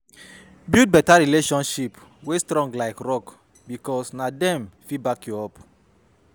Build beta relationship wey strong like rock bikos na dem fit back yu up